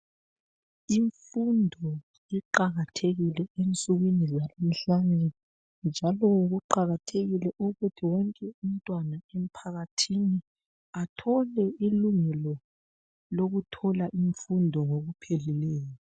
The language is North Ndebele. Imfundo iqakathekile ensukwini zalamhlanje njalo kuqakathekile ukuthi wonke umntwana emphakathini athole ilungelo lokuthola imfundo ngokupheleleyo.